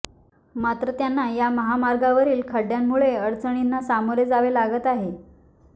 मात्र त्यांना या महामार्गावरील खड्ड्यामुळे अडचणींना सामोरे जावे लागत आहे